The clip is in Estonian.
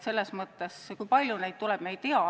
Kui palju neid juhtumeid tuleb, me ei tea.